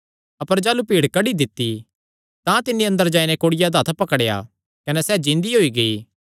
अपर जाह़लू भीड़ कड्डी दित्ती तां तिन्नी अंदर जाई नैं कुड़िया दा हत्थ पकड़ेया कने सैह़ जिन्दी होई गेई